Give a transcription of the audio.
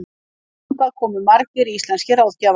Þangað komu margir íslenskir ráðgjafar.